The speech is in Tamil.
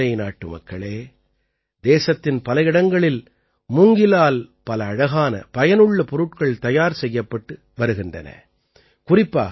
என் உளம்நிறை நாட்டுமக்களே தேசத்தின் பல இடங்களில் மூங்கிலால் பல அழகான பயனுள்ள பொருட்கள் தயார் செய்யப்பட்டு வருகின்றன